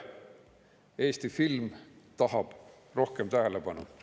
Eesti film tahab rohkem tähelepanu.